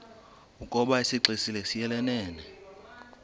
ukoba isixesibe siyelelene